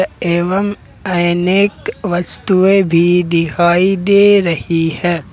एवम अनेक वस्तुएं भी दिखाई दे रही है।